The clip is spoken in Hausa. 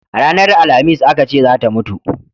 Ranar alhamis a Ka ce zata mutu